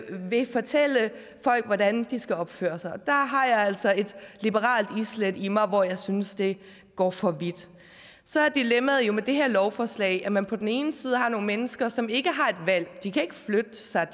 vil fortælle folk hvordan de skal opføre sig og der har jeg altså et liberalt islæt i mig hvor jeg synes det går for vidt så er dilemmaet med det her lovforslag at man på den ene side har nogle mennesker som ikke har et valg de kan ikke flytte sig